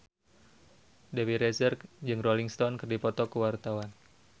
Dewi Rezer jeung Rolling Stone keur dipoto ku wartawan